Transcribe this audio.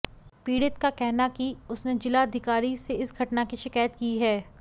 पीड़ित का कहना कि उसने जिलाधिकारी से इस घटना की शिकायत की है